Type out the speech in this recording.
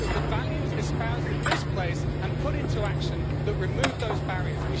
it was the values espoused in this place and put into action that removed those barriers.